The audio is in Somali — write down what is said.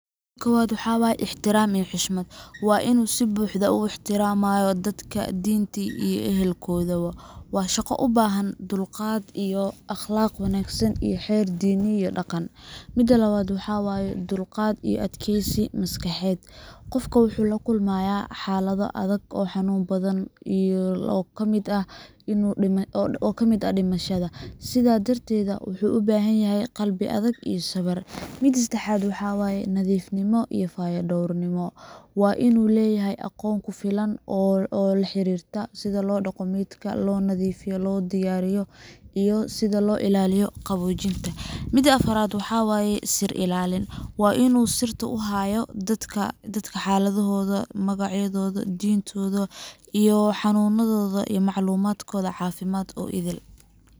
Maxa way Ixtiraam iyo xushmad Waa inuu si buuxda u ixtiraamaa dadka dhintay iyo ehelkooda. Waa shaqo u baahan akhlaaq iyo xeer diin iyo dhaqan leh. Labad, Dulqaad iyo adkaysi maskaxeed Qofka wuxuu la kulmayaa xaalado xanuun badan oo la xiriira dhimashada, sidaa darteed wuxuu u baahan yahay qalbi adag iyo sabir. Sedexad. Nadiifnimo iyo fayadhowrnimo Waa inuu leeyahay aqoon ku filan oo la xiriirta sida loo dhaqo, loo nadiifiyo, loona diyaariyo maydka, iyo sida loo ilaaliyo Sir ilaalin, Waa inuu sirta u hayo xaaladda dadka dhintay, magacyadooda, iy maclumaadkoda